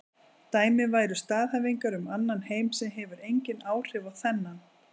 Dæmi væru staðhæfingar um annan heim sem hefur engin áhrif á þennan.